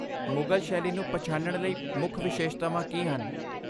ਮੁਗਲ ਸ਼ੈਲੀ ਨੂੰ ਪਛਾਣਨ ਲਈ ਮੁੱਖ ਵਿਸ਼ੇਸ਼ਤਾਵਾਂ ਕੀ ਹਨ?